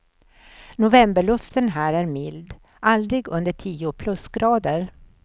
Novemberluften här är mild, aldrig under tio plusgrader.